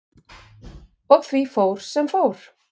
Og því fór sem fór.